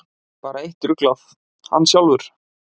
Bara eitt ruglað: Hann sjálfur.